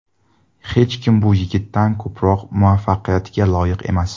Hech kim bu yigitdan ko‘proq muvaffaqiyatga loyiq emas.